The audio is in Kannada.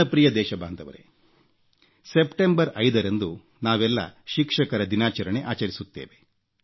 ನನ್ನ ಪ್ರಿಯ ದೇಶಬಾಂಧವರೇ ಸೆಪ್ಟೆಂಬರ್ 5 ರಂದು ನಾವೆಲ್ಲ ಶಿಕ್ಷಕರ ದಿನಾಚರಣೆ ಆಚರಿಸುತ್ತೇವೆ